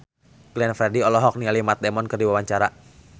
Glenn Fredly olohok ningali Matt Damon keur diwawancara